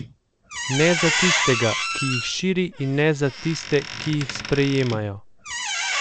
Ne za tistega, ki jih širi, in ne za tiste, ki jih sprejemajo.